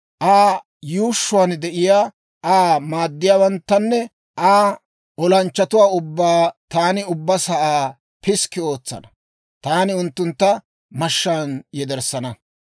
Aa yuushshuwaan de'iyaa Aa maaddiyaawanttanne Aa olanchchatuwaa ubbaa taani ubbaa sa'aa piskki ootsana; taani unttuntta mashshaan yederssana.